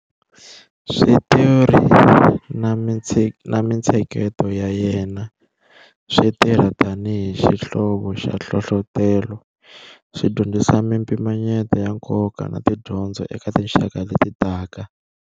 Switori na mintsheketo ya yena swi tirha tani hi xihlovo xa nhlohlotelo, swi dyondzisa mimpimanyeto ya nkoka na tidyondzo eka tinxaka leti taka.